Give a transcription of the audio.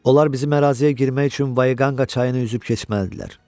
Onlar bizim əraziyə girmək üçün Vaqanqa çayını üzüb keçməlidirlər.